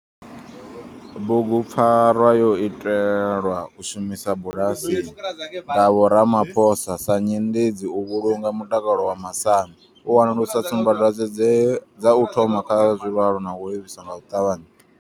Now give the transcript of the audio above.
Bugupfarwa yo itelwa u shumisa bulasini nga vho Ramaphosa sa nyendedzi u vhulunga mutakalo wa masambi, u wanulusa tsumbadwadzwe dze dza u thoma kha zwilwalaho na u livhisa nga u ṱavhanya.